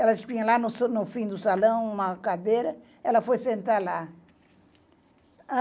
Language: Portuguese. Ela tinha lá no fim do salão uma cadeira, ela foi sentar lá.